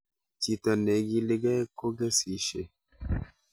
Chito neigiligei kogesisyei